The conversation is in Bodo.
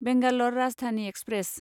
बेंगालर राजधानि एक्सप्रेस